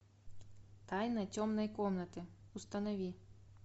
тайна темной комнаты установи